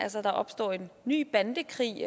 altså at der opstår en ny bandekrig